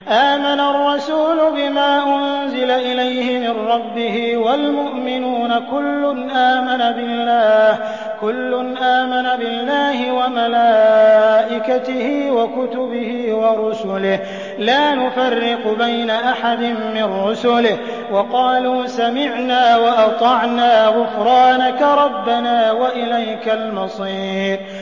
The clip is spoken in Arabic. آمَنَ الرَّسُولُ بِمَا أُنزِلَ إِلَيْهِ مِن رَّبِّهِ وَالْمُؤْمِنُونَ ۚ كُلٌّ آمَنَ بِاللَّهِ وَمَلَائِكَتِهِ وَكُتُبِهِ وَرُسُلِهِ لَا نُفَرِّقُ بَيْنَ أَحَدٍ مِّن رُّسُلِهِ ۚ وَقَالُوا سَمِعْنَا وَأَطَعْنَا ۖ غُفْرَانَكَ رَبَّنَا وَإِلَيْكَ الْمَصِيرُ